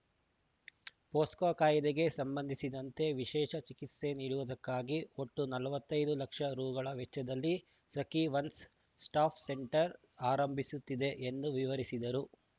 ಫೋಕ್ಸೋ ಕಾಯ್ದೆಗೆ ಸಂಬಂಧಿಸಿದಂತೆ ವಿಶೇಷ ಚಿಕಿತ್ಸೆ ನೀಡುವುದಕ್ಕಾಗಿ ಒಟ್ಟು ನಲವತ್ತೈದು ಲಕ್ಷ ರುಗಳ ವೆಚ್ಚದಲ್ಲಿ ಸಖೀ ಒನ್ಸ್‌ ಸ್ಟಾಪ್‌ ಸೆಂಟರ್‌ ಆರಂಭಿಸುತ್ತಿದೆ ಎಂದು ವಿವರಿಸಿದರು